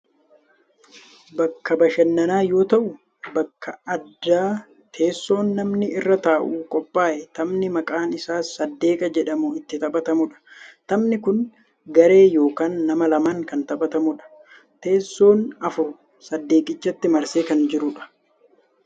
bakka bashananaa yoo ta'u bakka addaa teessoon namni irra taa'u qophaa'ee taphni maqaan isaa saddeeqa jedhamu itti taphatamudha. taphni kunis garee yookaan nama lamaan kan taphatamudha. teessoon afur saddeeqichatti marsee kan jirudha.